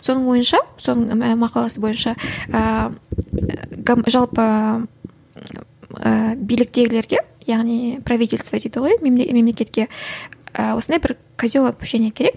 соның ойынша соның мақаласы бойынша ііі жалпы ііі биліктегілерге яғни правительство дейді ғой мемлекетке ы осындай бір козел отпущение керек